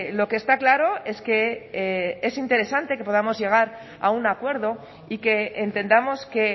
lo que está claro es que es interesante que podamos llegar a un acuerdo y que entendamos que